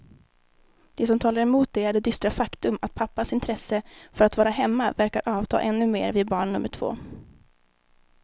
Det som talar emot det är det dystra faktum att pappans intresse för att vara hemma verkar avta ännu mer vid barn nummer två.